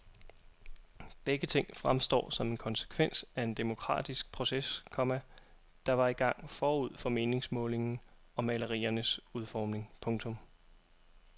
Begge ting fremstår som en konsekvens af en demokratisk proces, komma der var i gang forud for meningsmålingen og maleriernes udformning. punktum